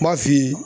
N b'a f'i ye